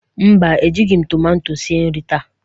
mba, Ejighị m tomato esi nri taa.